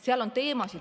Seal on teemasid ...